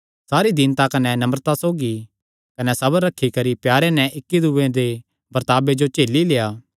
सारी दीनता कने नम्रता सौगी कने सबर रखी करी प्यारे नैं इक्की दूये दे बर्ताबे जो झेली लेआ